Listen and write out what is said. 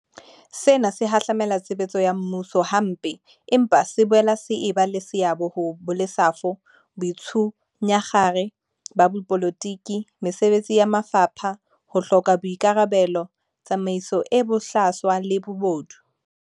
Sena se hahlamela tshebetso ya mmuso hampe, empa se boela se eba le seabo ho bolesafo, boitshunyakgare ba dipolotiki mesebetsing ya mafapha, ho hloka boika rabelo, tsamaiso e bohlaswa le bobodu.